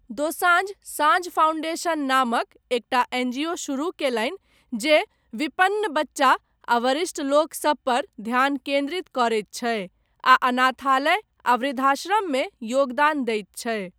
दोसांझ साँझ फाउंडेशन नामक एकटा एनजीओ शुरू कयलनि जे विपन्न बच्चा आ वरिष्ठ लोकसभ पर ध्यान केन्द्रित करैत छै, आ अनाथालय आ वृद्धाश्रम मे योगदान दैत छै।